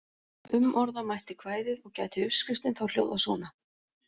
Umorða mætti kvæðið og gæti uppskriftin þá hljóðað svona: